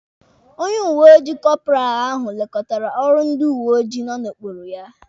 Onye uweojii kọparal ahụ lekọtara ọrụ ndị uweojii nọ n'okpuru ya.